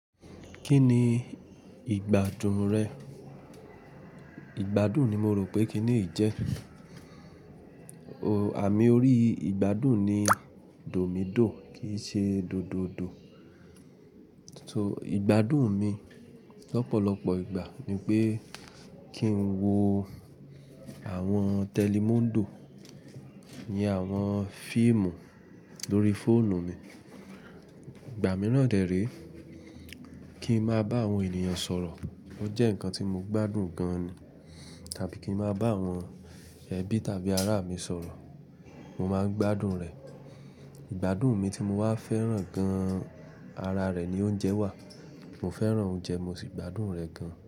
Kí ni ìgbádùn rẹ̀? Ìgbádùn ni mo rò pé kíni yi jẹ́. Àmì orí ìgbádùn ni dòmídò kì í ṣe dódòdò. So ìgbádùn mi lọ́pọ̀lọpọ̀ ìgbà ni pé kí n wo àwọn télímúndò iyen àwọn fíìmù lórí fóònù mi. Ìgbà mìíràn dẹ̀ re, kí ń máa bá àwọn ènìyàn sọ̀rọ̀. Ó jẹ́ ǹkan tí mo gbádùn gan ni. Tàbí kí ń máa bá àwọn ẹbí tàbí ará mi sọ̀rọ̀, mo máa ń gbádùn rẹ̀. Ìgbádùn mi tí mo wá fẹ́ràn gan ara rẹ̀ ni oúnjẹ wà. Mo fẹ́ràn oúnjẹ, mo sì gbádùn rẹ̀ gan.